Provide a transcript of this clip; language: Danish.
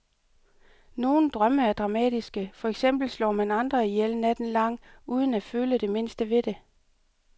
Nogle drømme er dramatiske, for eksempel slår man andre ihjel natten lang uden at føle det mindste ved det.